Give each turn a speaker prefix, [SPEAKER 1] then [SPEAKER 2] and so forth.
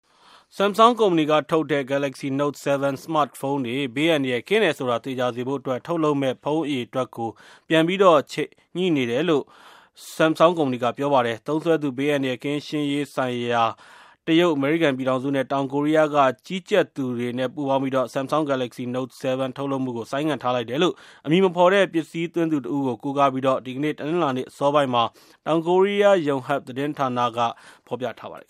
[SPEAKER 1] Samsung ကုမ္ပဏီကထုတ်တဲ့ Galaxy Note 7 smartphone တွေ ဘေးအန္တရာယ်ကင်းတယ်ဆိုတာ သေချာစေဖို့အတွက် ထုတ်လုပ်မယ့် ဖုန်းအရေ အတွက်ကို ပြန်ပြီး ချိန်ညှိနေတယ်လို့ Samsung ကုမ္ပဏီက ပြောပါတယ်။ သုံးစွဲသူ ဘေးအန္တရာယ်ကင်းရှင်းရေးဆိုင်ရာ တရုတ်၊ အမေရိကန်ပြည်ထောင်စုနဲ့ တောင်ကိုရီးယားက ကြီးကြပ်သူတွေနဲ့ ပူးပေါင်းပြီးတော့ Samsung- Galaxy Note 7 ထုတ်လုပ်မှုကို ဆိုင်းငံ့ထားလိုက်တယ်လို့ အမည်မဖော်တဲ့ ပစ္စည်းသွင်းသူတဦးကို ကိုးကားပြီး ဒီကနေ့ တနင်္လာနေ့ အစောပိုင်းမှာ တောင်ကိုရီးယား Yanhap သတင်းဌာနမှာ ဖော်ပြထားပါတယ်